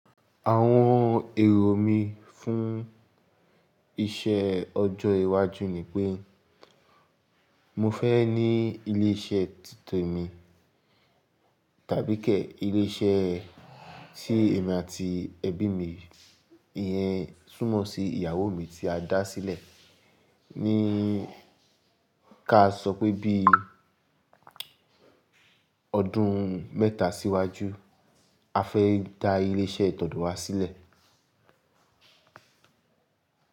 Àwon èrò mi fún iṣẹ ọjọ́ iwájú nipé, mo fé ní ilé iṣẹ́ títe mi tàbíké ilé iṣẹ́ tí èmi àti ẹbí mi, ìyẹn túmọ́ sí ìyàwó mi tí a dá sílẹ̀ ní ká sọ pé bí, ọdún mẹ́ta síwájú a fẹ́ dá ilé iṣẹ́ tọ̀do wa sílẹ̀